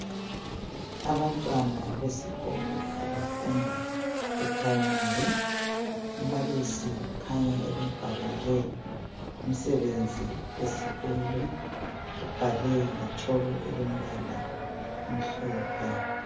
Abantwana besikolo abafunda ephuremari, umbalisi ukhanya ebabhalele umsebenzi wesikolo. Ubhale ngetshoko elombala omhlophe.